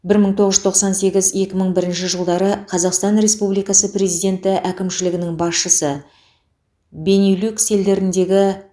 бір мың тоғыз жүз тоқсан сегіз екі мың бірінші жылдары қазақстан республикасы президенті әкімшілігінің басшысы бенилюкс елдеріндегі